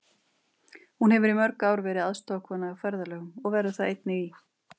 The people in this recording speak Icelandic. Hún hefur í mörg ár verið aðstoðarkona á ferðalögum og verður það einnig í